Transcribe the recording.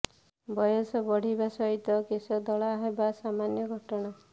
ବୟସ ବଢ଼ିବା ସହିତ କେଶ ଧଳା ହେବା ସାମାନ୍ୟ ଘଟଣା